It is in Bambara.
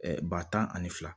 ba tan ani fila